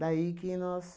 Daí que nós...